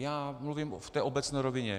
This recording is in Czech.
Já mluvím v té obecné rovině.